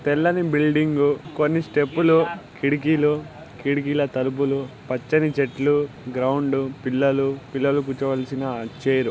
తెల్లని బిల్డింగ్ కొన్ని స్టెప్ లు కిటికీలు కిటికీల తలుపులు పచ్చని చెట్లు గ్రౌండ్ పిల్లలు పిల్లలు కూర్చోవాల్సిన చైర్--